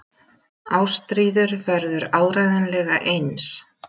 Ástríður verður áreiðanlega eins.